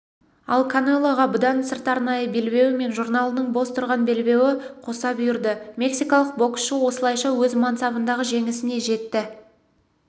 ал канелоға бұдан сырт арнайы белбеуі мен журналының бос тұрған белбеуі қоса бұйырды мексикалық боксшы осылайша өз мансабындағы жеңісіне жетті